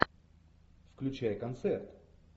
включай концерт